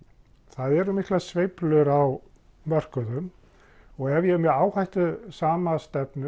það eru miklar sveiflur á mörkuðum og ef ég er með áhættusama